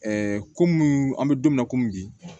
komi an bɛ don min na komi bi